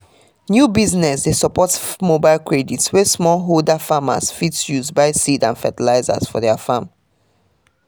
new business dey support mobile credit wey small holder farmers fit use buy seeds and fertilizer for their farm